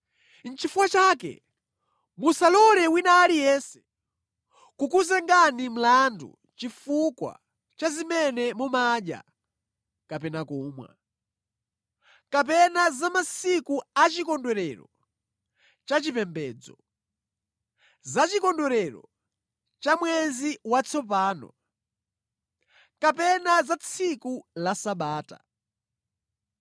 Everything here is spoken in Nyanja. Nʼchifukwa chake musalole wina aliyense kukuzengani mlandu chifukwa cha zimene mumadya kapena kumwa, kapena za masiku achikondwerero cha chipembedzo, za chikondwerero cha mwezi watsopano, kapena za tsiku la Sabata.